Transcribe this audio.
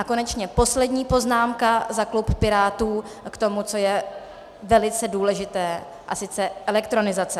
A konečně poslední poznámka za klub Pirátů k tomu, co je velice důležité, a sice elektronizace.